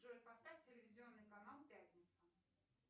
джой поставь телевизионный канал пятница